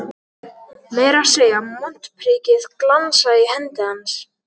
Meira að segja montprikið glansaði í hendi hans.